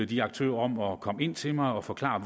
de aktører om at komme ind til mig og forklare